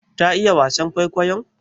Ta iya wasan kwaikwayon?